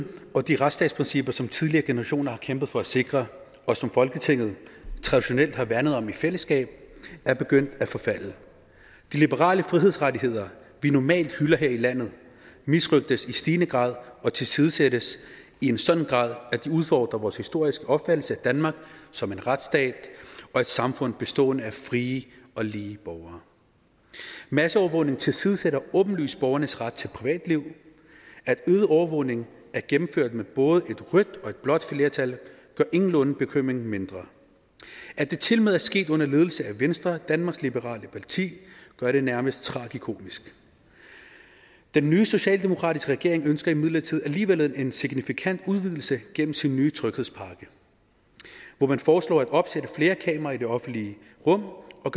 og de retsstatsprincipper som tidligere generationer har kæmpet for at sikre og som folketinget traditionelt har værnet om i fællesskab er begyndt at forfalde de liberale frihedsrettigheder vi normalt hylder her i landet misrøgtes i stigende grad og tilsidesættes i en sådan grad at de udfordrer vores historiske opfattelse af danmark som en retsstat og et samfund bestående af frie og lige borgere masseovervågning tilsidesætter åbenlyst borgernes ret til privatliv at øget overvågning er gennemført med både et rødt og et blåt flertal gør ingenlunde bekymringen mindre at det tilmed er sket under ledelse af venstre danmarks liberale parti gør det nærmest tragikomisk den nye socialdemokratiske regering ønsker imidlertid alligevel en signifikant udvidelse gennem sin nye tryghedspakke hvor man foreslår at opsætte flere kameraer i det offentlige rum og